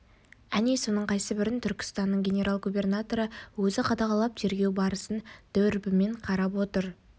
әне соның қайсыбірін түркістанның генерал-губернаторы өзі қадағалап тергеу барысын дүрбімен қарап отыр